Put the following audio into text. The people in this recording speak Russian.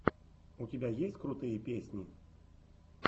у тебя есть крутые песни